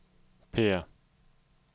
P